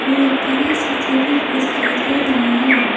और एक बड़ा सा टेबल भी दिखाई दे रहा है।